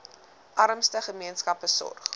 armste gemeenskappe sorg